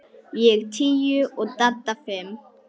Ég tíu og Dadda fimm.